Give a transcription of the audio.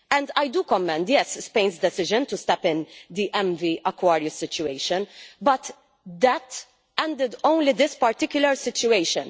I commend Spain's decision to step in in the MV Aquarius situation, but that ended only this particular situation.